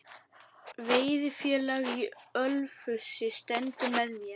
Veiðifélag í Ölfusi stendur með mér